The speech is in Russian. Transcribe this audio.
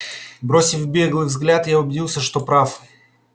бросив беглый взгляд я убедился что прав